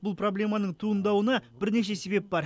бұл проблеманың туындауына бірнеше себеп бар